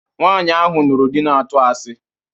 Nwaanyi ahụ nụrụ di na-atụ asi